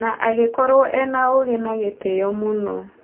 Na agĩkorwo ena ũgĩ na gĩtĩo mũno.